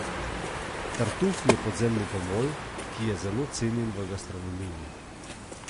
Tartuf je podzemni gomolj, ki je zelo cenjen v gastronomiji.